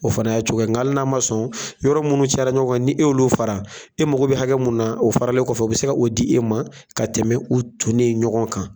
O fana y'a cogo ye nga ali n'a ma sɔn yɔrɔ minnu cayara ɲɔgɔn kan ni e y'olu fara e mago bɛ hakɛ mun na o faralen kɔfɛ o bɛ se ka o di e ma ka tɛmɛ u tonnen ɲɔgɔn kan.